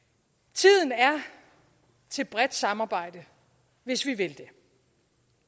tiden er til bredt samarbejde hvis vi vil det